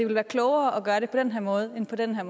være klogere at gøre det på den her måde end på den her